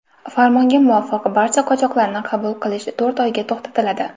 Farmonga muvofiq, barcha qochoqlarni qabul qilish to‘rt oyga to‘xtatiladi.